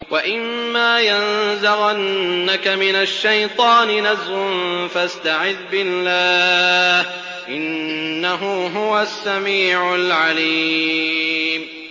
وَإِمَّا يَنزَغَنَّكَ مِنَ الشَّيْطَانِ نَزْغٌ فَاسْتَعِذْ بِاللَّهِ ۖ إِنَّهُ هُوَ السَّمِيعُ الْعَلِيمُ